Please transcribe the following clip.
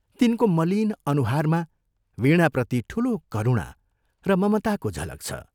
तिनको मलिन अनुहारमा वीणाप्रति ठूलो करुणा र ममताको झलक छ।